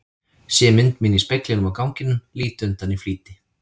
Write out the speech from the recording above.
Sé mynd mína í speglinum á ganginum, lít undan í flýti.